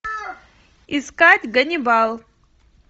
искать ганнибал